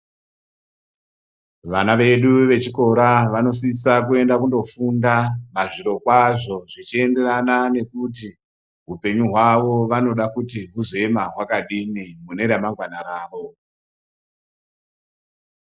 Vana vedu vechikora vanosisa kuenda kundofunda zviro kwazvo zvichienderana nekuti hupenyu hwawo vanoda kuti huzoema kwakadini mune ramangwana ravo.